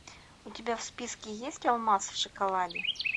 у тебя в списке есть алмаз в шоколаде